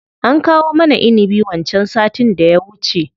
An kawo mana inibi wancan sattin da ya wuce.